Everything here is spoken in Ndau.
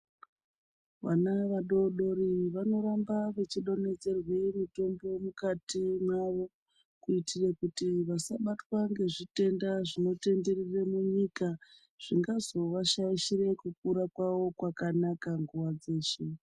Vana vadodori vanoramba vechidonhedzerwe mitombo mukati mwavo kuitire kuti vasabatwa ngezvitenda zvinotenderere munyika zvingazova shaishira kukura kwavo kwakanaka nguwa dzeshe.